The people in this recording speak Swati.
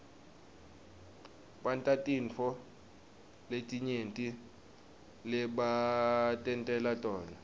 bantatintfo letinyenti lebatentela tona